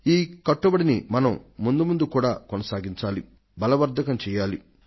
ఈ కట్టుబడిని మనం ముందు ముందు కూడా కొనసాగించాలి బలవర్ధకం చెయ్యాలి